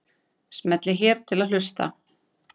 Smellið hér til að hlusta.